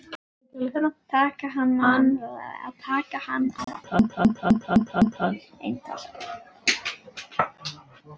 Taka hann á eintal.